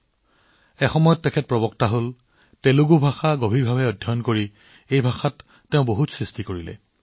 সময়ৰ লগে লগে বিথালাচাৰ্যজী প্ৰবক্তা হল তেওঁ গভীৰভাৱে তেলেগু অধ্যয়ন কৰিলে আৰু ইয়াত বহুতো ৰচনাও সৃষ্টি কৰিলে